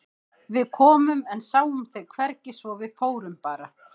Við komum en sáum þig hvergi svo að við fórum bara.